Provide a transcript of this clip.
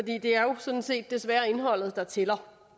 det er jo sådan set desværre indholdet der tæller